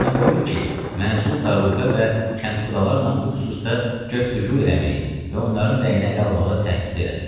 Boynuna qoyun ki, məzul daruğə və kənxudalarla bu xüsusda göftügü eləməyi və onların rəyini ələ almağı təhdüd eləsin.